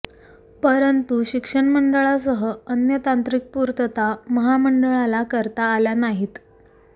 परंतु शिक्षण मंडळासह अन्य तांत्रिक पूर्तता महामंडळाला करता आल्या नाहीत